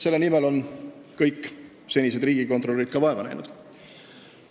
Selle nimel on ka kõik senised riigikontrolörid vaeva näinud.